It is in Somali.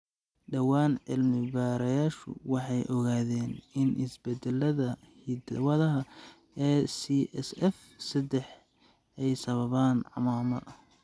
Dhawaan, cilmi-baarayaashu waxay ogaadeen in isbeddellada hidda-wadaha ACSF sedex ay sababaan CMAMMA.